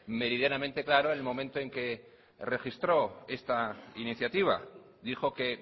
meridianamente claro en el momento en que registro esta iniciativa dijo que